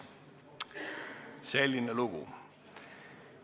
Selline lugu.